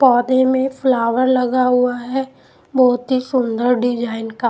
पौधे में फ्लावर लगा हुआ है बहुत ही सुंदर डिजाइन का--